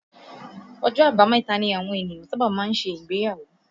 Ọjọ́ àbámẹ̀ta ni àwọn ènìyàn sábà máa ń ṣe ìgbéyàwó